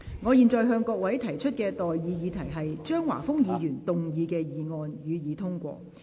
我現在向各位提出的待議議題是：張華峰議員動議的議案，予以通過。